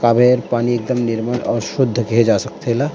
तरिया के पानी एकदम निर्मल और शुद्ध देखे जा सकथे एला--